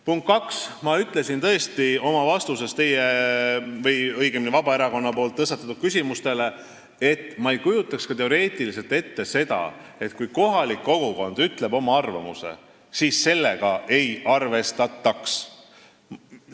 Punkt kaks, ma ütlesin tõesti oma vastuses Vabaerakonna tõstatatud küsimustele, et ma ei kujutaks ka teoreetiliselt ette, et kui kohalik kogukond ütleb oma arvamuse, siis sellega ei arvestataks.